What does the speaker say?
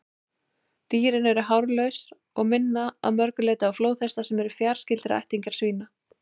Dýrin eru hárlaus og minna að mörgu leyti á flóðhesta, sem eru fjarskyldir ættingjar svína.